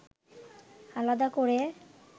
আলাদা করে